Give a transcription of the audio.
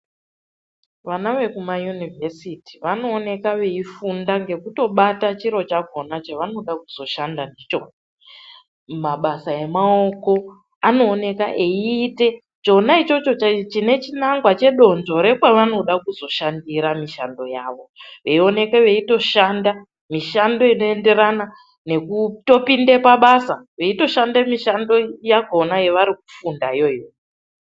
Vana vekumayunivhesiti vanooneka veifunda ngekutobata chiro chakona chavanoda kuzoshanda ndicho, mabasa emaoko anooneka eiite chona ichocho chine chinangwa chedonzvo rekwavanoda kuzoshandira mishando yavo veioneke veitoshanda mishando inoenderana nekutopinde pabasa veitoshanda mishando yakona yevari kufundayo iyoyo.